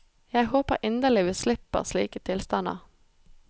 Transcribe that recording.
Jeg håper inderlig vi slipper slike tilstander.